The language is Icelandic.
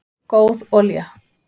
góð olía